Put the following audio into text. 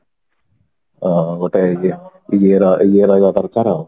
ଅ ଗୋଟେ ଇଏ ଦରକାର ଆଉ